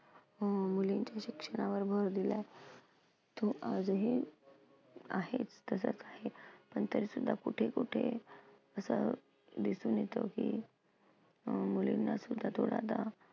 अं मुलींच्या शिक्षणावर भर दिलाय, तो आजही आहेच, तसंच आहे. पण तरीसुद्धा कुठे कुठे असं दिसून येतं की अं मुलींनासुद्धा